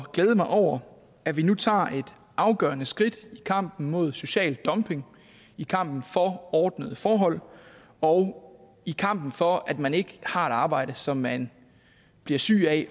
glæde mig over at vi nu tager et afgørende skridt i kampen mod social dumping i kampen for ordnede forhold og i kampen for at man ikke har et arbejde som man bliver syg af